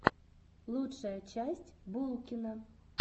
лучшая часть булкина